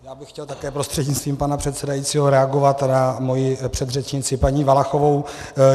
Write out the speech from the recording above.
Já bych chtěl také prostřednictvím pana předsedajícího reagovat na svoji předřečnici paní Valachovou.